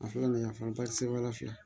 A fɔra nin ye yan fanba ti se wali fila